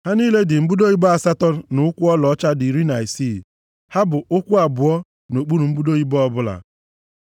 Ha niile dị mbudo ibo asatọ na ụkwụ ọlaọcha dị iri na isii, ya bụ ụkwụ abụọ nʼokpuru mbudo ibo ọbụla.